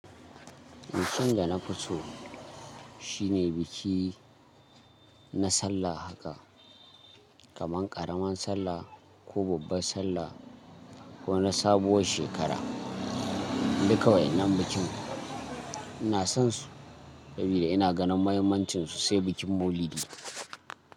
Bikin da na fi so shine biki na sallah haka, kamar ƙaramar sallah ko babbar sallah ko na sabuwar shekara. Duka wayannan bikin ina son su saboda ina ganin mahimmancinsu, sai bikin Maulidi.